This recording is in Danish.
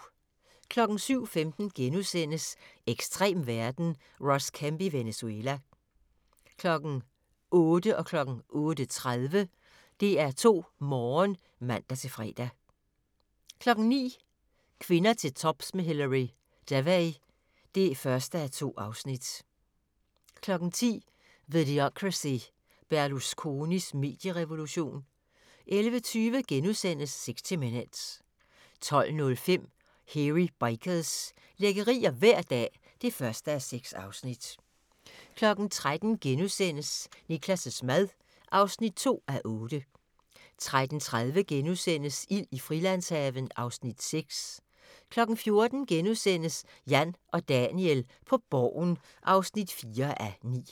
07:15: Ekstrem verden – Ross Kemp i Venezuela * 08:00: DR2 Morgen (man-søn) 08:30: DR2 Morgen (man-fre) 09:00: Kvinder til tops med Hilary Devey (1:2) 10:00: Videocracy – Berlusconis medierevolution 11:20: 60 Minutes * 12:05: Hairy Bikers – lækkerier hver dag (1:6) 13:00: Niklas' mad (2:8)* 13:30: Ild i Frilandshaven (Afs. 6)* 14:00: Jan og Daniel på Borgen (4:9)*